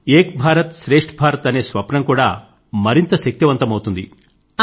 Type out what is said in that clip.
ఇందువల్ల ఏక్ భారత్ శ్రేష్ఠ భారత్ అనే స్వప్నం కూడా మరింత శక్తిమంతమవుతుంది